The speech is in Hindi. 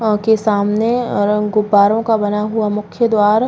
अँ के सामने और उन गुब्बारों का बना हुआ मुख्य द्वार --